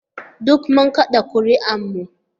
Duk mun kada ƙuri'ar mu